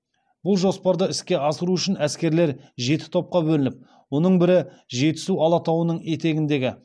бұл жоспарды іске асыру үшін әскерлер жеті топқа бөлініп оның бірі жетісу алатауының етегіндегі